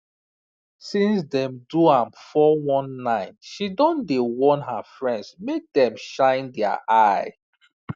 since dem do am 419 she don dey warn her friends make dem shine their eye